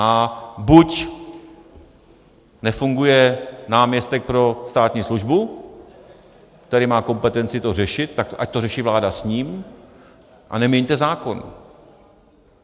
A buď nefunguje náměstek pro státní službu, který má kompetenci to řešit, tak ať to řeší vláda s ním a neměňte zákon.